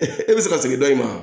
e bɛ se ka segin dɔ i ma